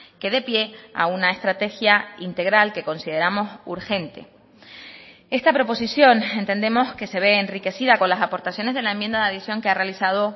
que dé pie a una estrategia integral que consideramos urgente esta proposición entendemos que se ve enriquecida con las aportaciones de la enmienda de adición que ha realizado